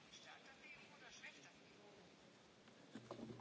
Da sind wir wieder genau an dem Punkt, den ich eigentlich angesprochen habe.